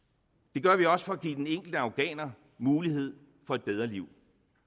det gør vi også for at give den enkelte afghaner muligheden for et bedre liv